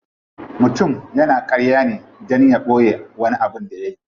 Mutum yana karya ne dan ya boye wani abin da yayi.